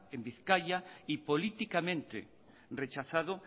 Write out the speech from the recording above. en bizkaia y políticamente rechazado